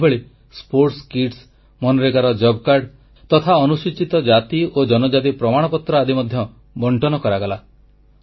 ସେହିଭଳି କ୍ରୀଡା ସାମଗ୍ରୀ ମନରେଗା ଜବ କାର୍ଡ ତଥା ଅନୁସୂଚିତ ଜାତି ଓ ଜନଜାତି ପ୍ରମାଣପତ୍ର ଆଦି ମଧ୍ୟ ବଂଟନ କରାଗଲା